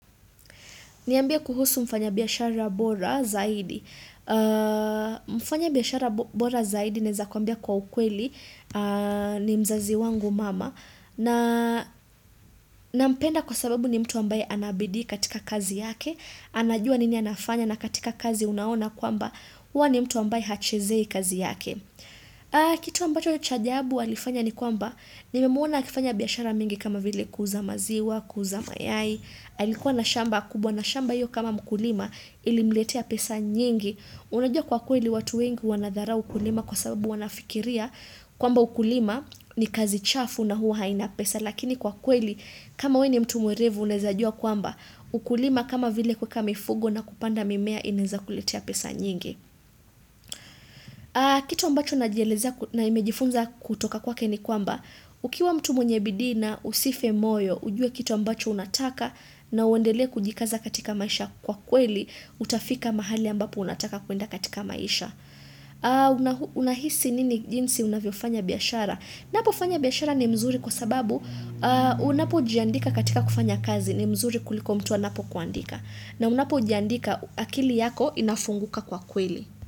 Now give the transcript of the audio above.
Niambie kuhusu mfanya biashara bora zaidi. Mfanya biashara bora zaidi naweza kukuambia kwa ukweli ni mzazi wangu mama. Nampenda kwa sababu ni mtu ambaye ana bidii katika kazi yake. Anajua nini anafanya na katika kazi unaona kwamba huwa ni mtu ambaye hachezei kazi yake. Kitu ambacho cha ajabu alifanya ni kwamba nimemuona akifanya biashara mingi kama vile kuuza maziwa, kuuza mayai. Alikuwa na shamba kubwa na shamba hiyo kama mkulima ilimletea pesa nyingi unajua kwa kweli watu wengi wanadharau ukulima kwa sababu wanafikiria kwamba ukulima ni kazi chafu na huwa haina pesa lakini kwa kweli kama wee ni mtu mwerevu unaezajua kwamba ukulima kama vile kuweka mifugo na kupanda mimea inaenza kuletea pesa nyingi kitu ambacho najielezea na nimejifunza kutoka kwake ni kwamba ukiwa mtu mwenye bidii na usife moyo ujue kitu ambacho unataka na uendelee kujikaza katika maisha kwa kweli, utafika mahali ambapo unataka kuenda katika maisha. Unahisi nini jinsi unavyo fanya biashara? Napo fanya biashara ni mzuri kwa sababu unapo jiandika katika kufanya kazi ni mzuri kuliko mtu anapokuandika. Na unapo jandika akili yako inafunguka kwa kweli.